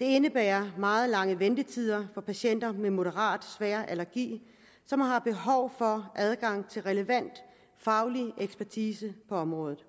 det indebærer meget lange ventetider for patienter med moderat svær allergi som har behov for adgang til relevant faglig ekspertise på området